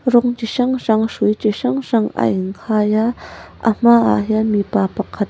rawng chi hrang hrang hrui chi hrang hrang a in khai a a hmaah hian mipa pakhat--